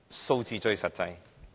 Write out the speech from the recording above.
數字最實際。